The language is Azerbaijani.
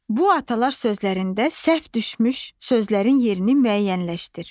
Bu atalar sözlərində səhv düşmüş sözlərin yerini müəyyənləşdir.